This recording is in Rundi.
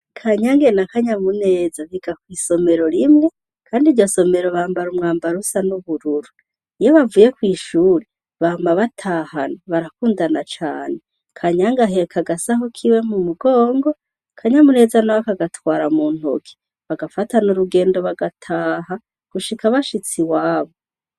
Kanyange na Kanyamuneza biga kw'isomero rimwe kandi iryo somero bambara umwambaro usa n'ubururu. Iyo bavuye kw'ishure, bama batahana, barakundana cane. Kanyange aheka agasaho kiwe mu mugongo, Kanyamuneza na we akagatwara mu ntoke. Bagafatana urugendo bagataha gushika bashitse iwabo.